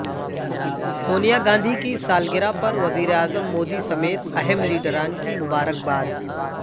سونیا گاندھی کی سالگرہ پر وزیر اعظم مودی سمیت اہم لیڈران کی مبارکباد